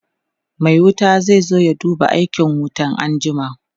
Mai wuta zai zo ya duba aikin wutan anjima